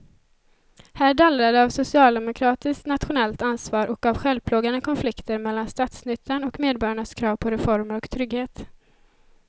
Här dallrar det av socialdemokratiskt nationellt ansvar och av självplågande konflikter mellan statsnyttan och medborgarnas krav på reformer och trygghet.